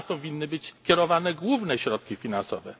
I na to powinny być kierowane główne środki finansowe.